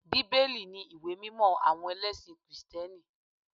Bíbélì ni ìwé mímọ àwọn ẹlẹ́sìn kìrìtẹ́nì